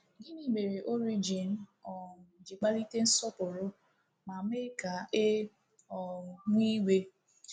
Gịnị mere Origen um ji kpalite nsọpụrụ ma mee ka e um nwee iwe?